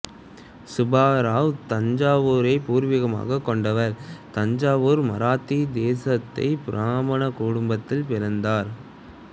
சுபா ராவ் தஞ்சாவூரைப் பூர்வீகமாகக் கொண்டவர் தஞ்சாவூர் மராத்தி தேசஸ்த் பிராமண குடும்பத்தில் பிறந்தார்